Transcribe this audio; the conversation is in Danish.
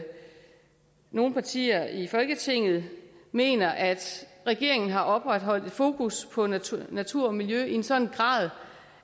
nogle partier i folketinget mener at regeringen har opretholdt et fokus på natur natur og miljø i en sådan grad